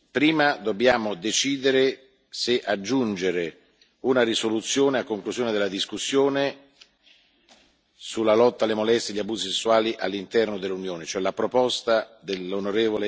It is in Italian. Prima dobbiamo decidere se aggiungere una risoluzione a conclusione della discussione sulla lotta alle molestie e agli abusi sessuali all'interno dell'Unione, cioè la proposta dell'on.